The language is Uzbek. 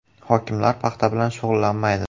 Hokimlar paxta bilan shug‘ullanmaydi.